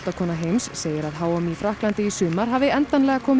heims segir að h m í Frakklandi í sumar hafi endalega komið